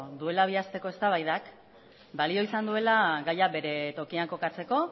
duela bi asteko eztabaidak balio izan duela gaia bere tokian kokatzeko